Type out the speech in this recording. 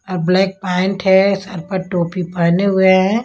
और black pant है सर पर टोपी पहने हुए हैं।